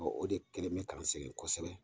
o de kɛlen bɛ k'an sɛgɛ kosɛbɛ.